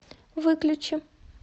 выключи